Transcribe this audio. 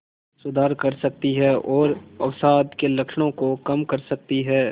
सुधार कर सकती है और अवसाद के लक्षणों को कम कर सकती है